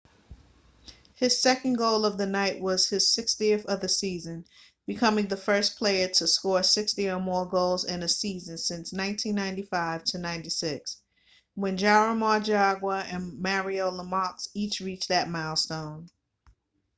his second goal of the night was his 60th of the season becoming the first player to score 60 or more goals in a season since 1995-96 when jaromir jagr and mario lemieux each reached that milestone